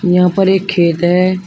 यहां पर एक खेत है।